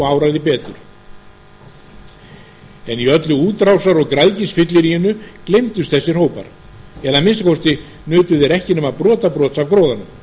áraði betur en í öllu útrásar og græðgisfylliríinu gleymdust þessir hópar eða að minnsta kosti nutu þeir ekki nema brotabrots af gróðanum samt